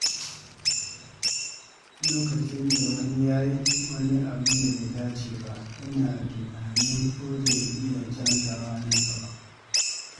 Lokacin da wani ya yi wani abin da bai dace ba, ina tunanin ko zai iya canzawa nan gaba.